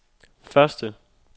første